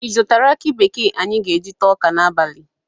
Ị zụtara aki bekee anyị ga-eji taa ọka n'abalị?